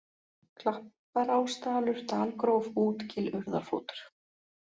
Klapparásdalur, Dalgróf, Útgil, Urðarfótur